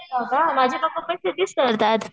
हो का? माझे पप्पा पण शेतीच करतात.